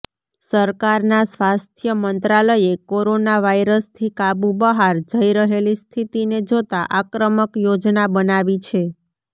સરકારના સ્વાસ્થ્ય મંત્રાલયે કોરોના વાયરસથી કાબૂ બહાર જઇ રહેલી સ્થિતિને જોતા આક્રમક યોજના બનાવી છે